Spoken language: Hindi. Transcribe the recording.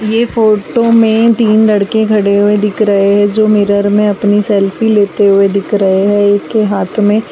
ये फोटो में तीन लड़के खड़े हुए दिख रहे जो मिरर में अपने सेल्फी लेते हुए दिख रहे है एक के हाथ में --